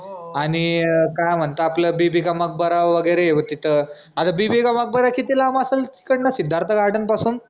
आनि काय म्हनते आपलं बिबिका मकबरा वगैरे तिथं आता बिबिका मकबरा किती लांब असलं? तिकडन सिद्धार्थ garden पासून